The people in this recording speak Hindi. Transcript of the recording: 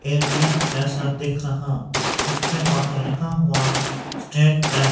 ए_टी_एम जैसा दिख रहा जिसके बाहर लिखा हुवा स्टेट बैंक ।